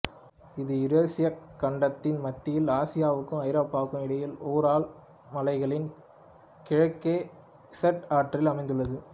இது யூரேசியக் கண்டத்தின் மத்தியில் ஆசியாவுக்கும் ஐரோப்பாவுக்கும் இடையில் உரால் மலைகளின் கிழக்கே இசெட் ஆற்றில் அமைந்துள்ளது